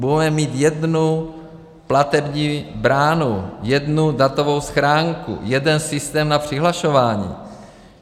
Budeme mít jednu platební bránu, jednu datovou schránku, jeden systém na přihlašování.